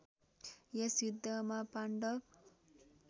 यस युद्धमा पाण्डव